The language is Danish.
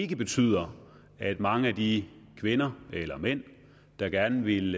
betyder at mange af de kvinder eller mænd der gerne vil